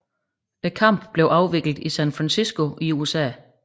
Kampen blev afviklet i San Francisco i USA